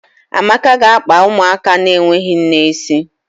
Amaka ga-akpa ụmụaka na-enweghị nne isi